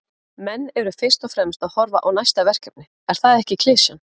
Menn eru fyrst og fremst að horfa á næsta verkefni, er það ekki klisjan?